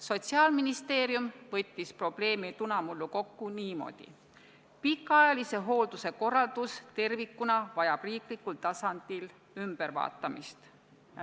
Sotsiaalministeerium võttis probleemi tunamullu kokku niimoodi: pikaajalise hoolduse korraldus tervikuna vajab riiklikul tasandil ümbervaatamist.